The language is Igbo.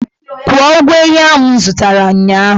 Kwụọ ụgwọ ehi ahụ m zụtara ụnyahụ!